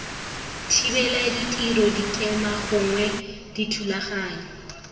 thibela ditiro dikema gongwe dithulaganyo